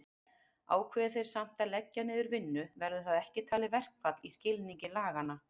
Ákveði þeir samt að leggja niður vinnu verður það ekki talið verkfall í skilningi laganna.